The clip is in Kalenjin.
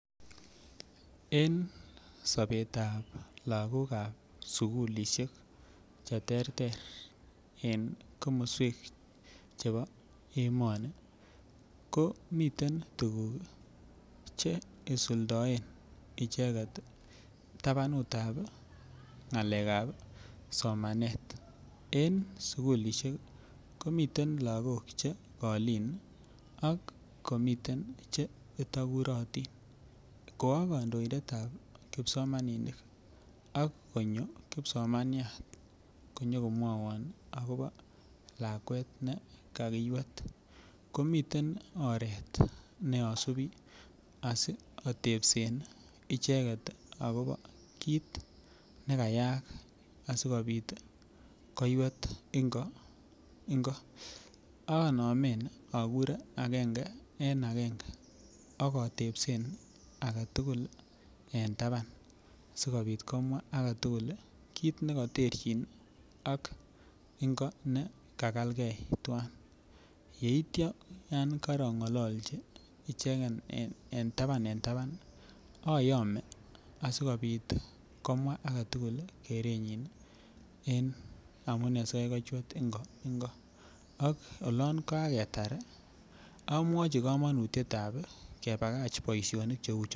En sobet ab lagok Che terter en sukulisiek chebo emoni komiten tuguk Che isuldoen icheget tabanut ab ngalekab somanet en sukulisiek komiten lagok Che kolin ak komiten Che itogurotin ko a kandoindet ab kipsomaninik ak konyo kipsomanyat konyo ko mwawon agobo lakwet ne kakiywet ko miten oret ne asubi asi atebsen icheget kit ne kayaak asi kobit koywet Ingo ingo anome akure agenge en agenge ak atebsen age tugul en taban asi kobit komwa age tugul kit ne koterchin ak ingo ne kakelge twan yeityo korongolochi ichegen en taban ayome asikobit komwa age tugul kerenyin en amune asikobit kochwet ingo ingo ak oloon kaketar ii amwochi kamanutiet ab kebagach boisionik Cheu choto